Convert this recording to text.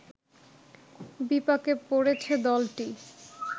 বিপাকে পড়েছে দলটি